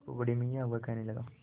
देखो बड़े मियाँ वह कहने लगा